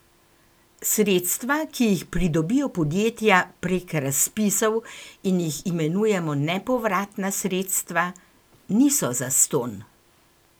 Sredstva, ki jih pridobijo podjetja prek razpisov in jih imenujemo nepovratna sredstva, niso zastonj!